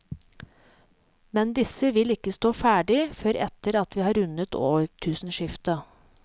Men disse vil ikke stå ferdig før etter at vi har rundet årtusenskiftet.